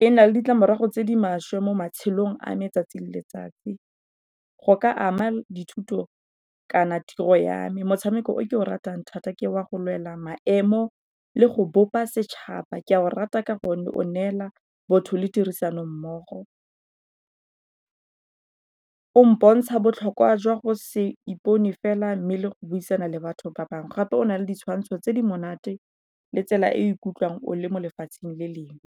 e na le ditlamorago tse di maswe mo matshelong a me 'tsatsi le letsatsi. Go ka ama dithuto kana tiro ya me, motshameko o ke o ratang thata ke wa go lwela maemo le go bopa setšhaba ke a go rata ka gonne o neela botho le tirisano mmogo. O mpontsha botlhokwa jwa go se ipone fela mme le go buisana le batho ba bangwe gape o na le ditshwantsho tse di monate le tsela e o ikutlwang o le mo lefatsheng le lengwe.